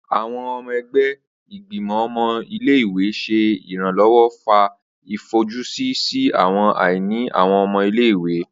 Awọn ọmọ ẹgbẹ Igbimọ ọmọ ile-iwe ṣe iranlọwọ fa ifojusi si awọn aini awọn ọmọ ile-iwe.